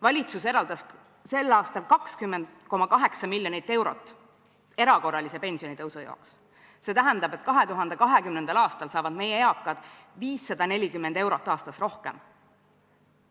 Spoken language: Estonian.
Valitsus eraldas sel aastal 20,8 miljonit eurot erakorralise pensionitõusu jaoks, see tähendab, et 2020. aastal saavad meie eakad 540 eurot aastas rohkem.